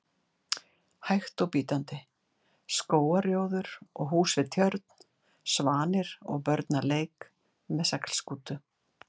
hægt og bítandi: skógarrjóður og hús við tjörn, svanir og börn að leik með seglskútu.